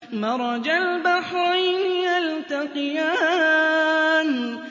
مَرَجَ الْبَحْرَيْنِ يَلْتَقِيَانِ